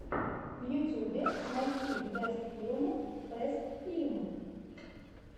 в ютьюбе найти бэст филм бэст фильм